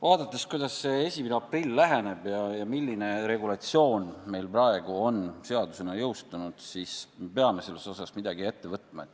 Vaadates, kuidas 1. aprill läheneb ja milline regulatsioon meil praegu on seadusena jõustunud, peame selles osas midagi ette võtma.